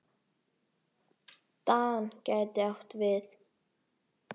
DAN gæti átt við